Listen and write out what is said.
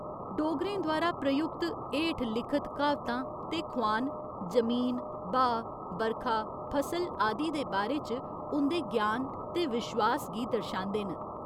डोगरें द्वारा प्रयुक्त हेठ लिखत क्हावतां ते खोआन जमीन, ब्हाऽ, बरखा, फसल आदि दे बारे च उं'दे ज्ञान ते विश्वास गी दर्शांदे न।